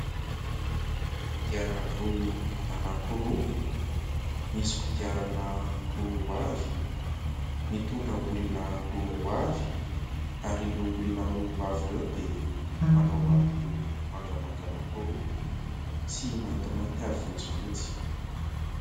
Kodiaran-droa anankiroa misy kodiarana roa roa avy, mitondra olona roa roa avy ary. Ary ireo olona roa roa avy ireo dia manao aroloha mangamanga anankiroa sy maintimainty ary fotsifotsy.